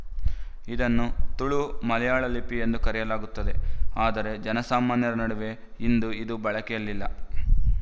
ಇದನ್ನು ತುಳು ಮಲಯಾಳ ಲಿಪಿ ಎಂದೂ ಕರೆಯಲಾಗುತ್ತದೆ ಆದರೆ ಜನಸಾಮಾನ್ಯರ ನಡುವೆ ಇಂದು ಇದು ಬಳಕೆಯಲ್ಲಿಲ್ಲ